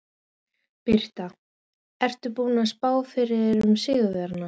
Birta: Ertu búinn að spá fyrir um sigurvegara?